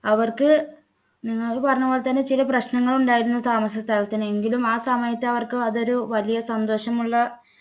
അവർക്ക് നിങ്ങൾ പറഞ്ഞ പോലെ തന്നെ ചില പ്രശ്നങ്ങൾ ഉണ്ടായിരുന്നു താമസ സ്ഥലത്തിന് എങ്കിലും ആ സമയത്ത് അവർക്ക് അതൊരു വലിയ സന്തോഷമുള്ള